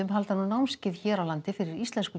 halda nú námskeið hér á landi fyrir íslensku